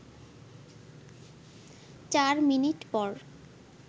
চার মিনিট পর